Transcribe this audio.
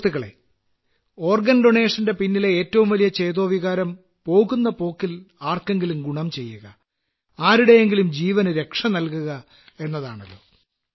സുഹൃത്തുക്കളേ അവയവ ദാനത്തിന്റെ പിന്നിലെ ഏറ്റവും വലിയ ചേതോവികാരം പോകുന്ന പോക്കിൽ ആർക്കെങ്കിലും ഗുണം ചെയ്യുക ആരുടെയെങ്കിലും ജീവനു രക്ഷനല്കുക എന്നതാണല്ലോ